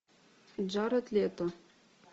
джаред лето